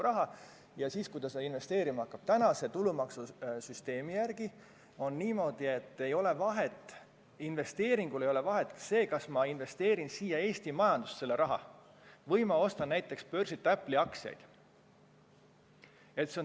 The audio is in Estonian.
Kui ta seda investeerima hakkab, siis meie tulumaksusüsteemi järgi ei ole vahet, kas ta investeerib siia Eesti majandusse või ostab näiteks börsilt Apple'i aktsiaid.